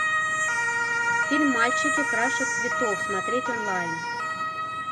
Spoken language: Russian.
фильм мальчики краше цветов смотреть онлайн